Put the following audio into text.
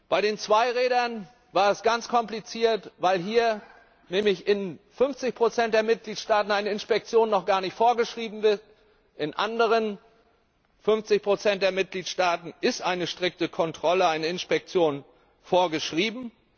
Bei den Zweirädern war es ganz kompliziert, weil hier nämlich in 50 der Mitgliedstaaten eine Inspektion noch gar nicht vorgeschrieben ist, in den anderen 50 der Mitgliedstaaten ist eine strikte Kontrolle, eine Inspektion vorgeschrieben.